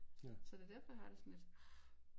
Så det derfor jeg har det sådan lidt ah